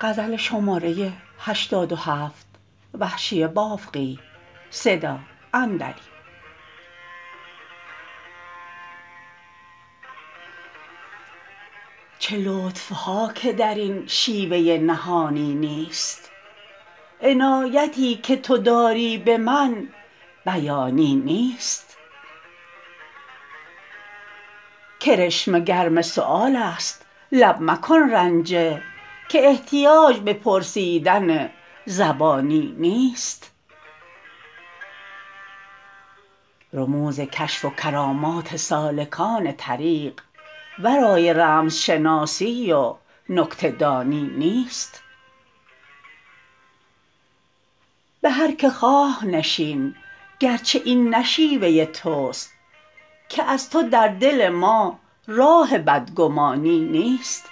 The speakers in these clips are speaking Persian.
چه لطف ها که در این شیوه نهانی نیست عنایتی که تو داری به من بیانی نیست کرشمه گرم سؤال است لب مکن رنجه که احتیاج به پرسیدن زبانی نیست رموز کشف و کرامات سالکان طریق ورای رمز شناسی و نکته دانی نیست به هر که خواه نشین گرچه این نه شیوه تست که از تو در دل ما راه بدگمانی نیست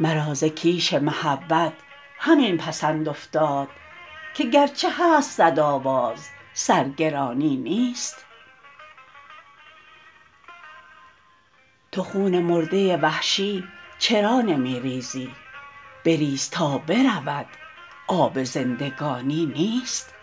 مرا ز کیش محبت همین پسند افتاد که گرچه هست سد آواز سرگرانی نیست تو خون مرده وحشی چرا نمی ریزی بریز تا برود آب زندگانی نیست